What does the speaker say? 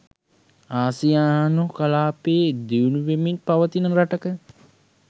ආසියානු කලාපයේ දියුණු වෙමින් පවතින රටක